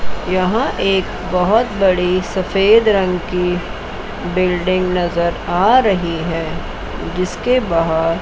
यहां एक बहोत बड़ी सफेद रंग की बिल्डिंग नजर आ रही है जिसके बाहर--